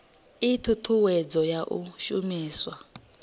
ii thuthuwedzo ya u shumiswa